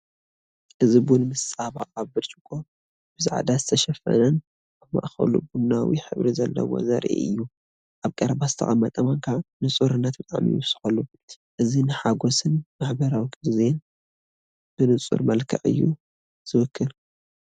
እዚ ቡን ምስ ፃባ ኣብ ብርጭቆ፡ ብጻዕዳ ዝተሸፈነን ኣብ ማእከሉ ቡናዊ ሕብሪ ዘለዎን ዘርኢ እዩ። ኣብ ቀረባ ዝተቐመጠ ማንካ ንጹርነት ጣዕሚ ይውስኸሉ፤ እዚ ንሓጐስን ማሕበራዊ ግዜን ብንጹር መልክዕ እዩ ዚውክል።